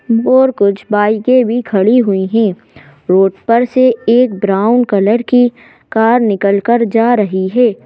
और कुछ बाइकें भी खड़ी हुई हैं रोड पर से एक ब्राउन कलर की कार निकलकर जा रही है।